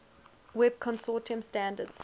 web consortium standards